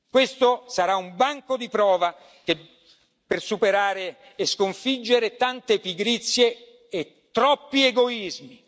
Questo sarà un banco di prova per superare e sconfiggere tante pigrizie e troppi egoismi.